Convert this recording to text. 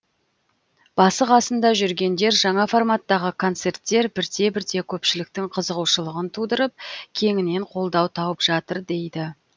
басы қасында жүргендер жаңа форматтағы концерттер бірте бірте көпшіліктің қызығушылығын тудырып кеңінен қолдау тауып жатыр дейді